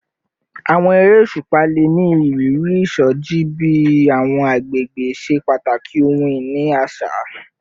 Awọn ere oṣupa le ni iriri isoji bi awọn agbegbe ṣe pataki ohun-ini aṣa